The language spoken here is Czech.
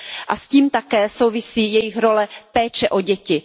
A s tím také souvisí jejich role péče o děti.